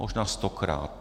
Možná stokrát.